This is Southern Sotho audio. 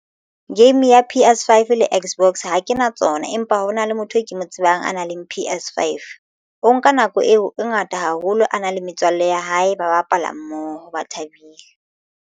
Game ya P_S5 le Xbox ha ke na tsona empa hona le motho e ke mo tsebang a nang le P_S5 Five o nka nako eo e ngata haholo a nang le metswalle ya hae ba bapala mmoho ba thabile.